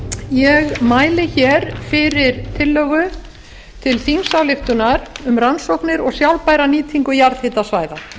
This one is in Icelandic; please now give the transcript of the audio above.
ég mæli fyrir tillögu til þingsályktunar um rannsóknir og sjálfbæra nýtingu jarðhitasvæða